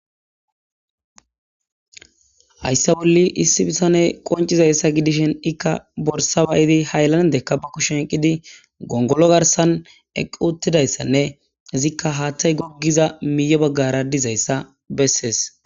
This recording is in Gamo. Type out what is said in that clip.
hayssa bolli issi bithane qoncizayssa gidishin ikka borsa ba7idi haylandekka ba kushen oyqqidi gongolo garsan eqquuttidayssanne izikka haattay goggiza miiyo baggara dizayssa bessees.